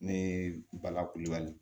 Ne ye bala kulubali